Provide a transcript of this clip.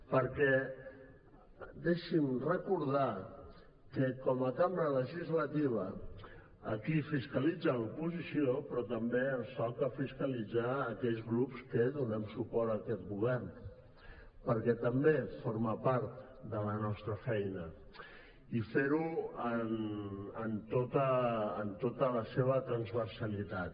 perquè deixi’m recordar que com a cambra legislativa aquí fiscalitza l’oposició però també ens toca fiscalitzar a aquells grups que donem suport a aquest govern perquè també forma part de la nostra feina i fer ho en tota la seva transversalitat